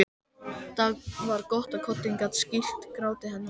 Það var gott að koddinn gat skýlt gráti hennar.